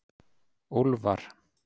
Úlfar